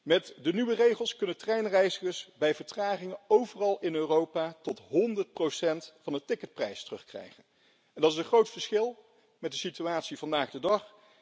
Met de nieuwe regels kunnen treinreizigers, bij vertragingen, overal in Europa tot 100 van de ticketprijs terugkrijgen. En dat is een groot verschil met de situatie vandaag de dag.